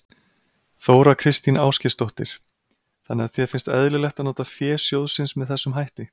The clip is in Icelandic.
Þóra Kristín Ásgeirsdóttir: Þannig að þér finnst eðlilegt að nota fé sjóðsins með þessum hætti?